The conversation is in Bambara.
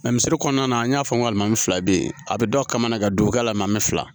kɔnɔna na an y'a fɔ n ko nka maa min fila be yen a bi dɔ kamanagan don a la an bi fila